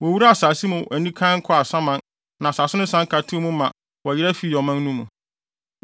Wowuraa asase mu anikann kɔɔ asaman na asase no san ka too mu ma wɔyera fii ɔman no mu.